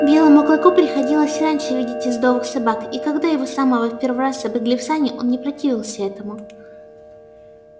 белому клыку приходилось и раньше видеть ездовых собак и когда его самого в первый раз запрягли в сани он не противился этому